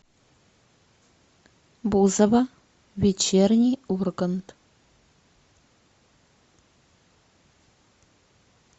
бузова вечерний ургант